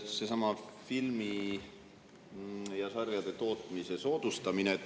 Seesama filmide ja sarjade tootmise soodustamise.